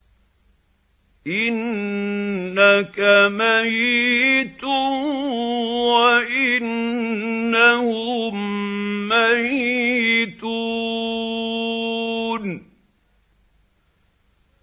إِنَّكَ مَيِّتٌ وَإِنَّهُم مَّيِّتُونَ